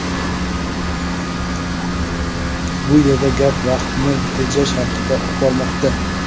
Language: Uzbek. Bu yerda gap vaqtni tejash haqida bormoqda.